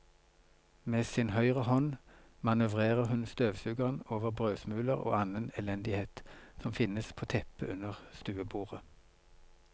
Med sin høyre hånd manøvrerer hun støvsugeren over brødsmuler og annen elendighet som finnes på teppet under stuebordet.